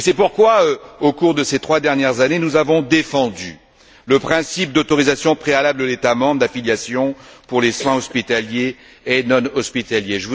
Et c'est pourquoi, au cours de ces trois dernières années, nous avons défendu le principe d'autorisation préalable de l'État membre d'affiliation pour les soins hospitaliers et non hospitaliers.